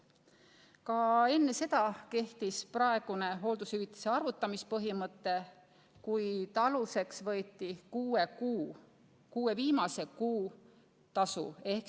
Ka enne seda kehtis praegune hooldushüvitise arvutamise põhimõte, kuid aluseks võeti kuue viimase kuu tasu.